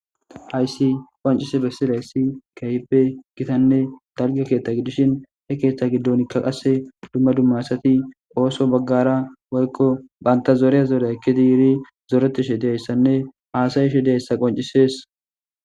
Haysi qoncise bessila yssi keype gitanne dalgo keethta giddishin he keeththa giddonikka qasse dumma dummaasati ooso baggara wolko banta zooreya zorye eki diiri zoreti she deyayssanne haasayi she deyayssa qoncisees.